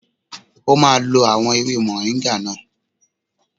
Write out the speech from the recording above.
O máa lo àwọn ewé mọ̀ríńgà náà.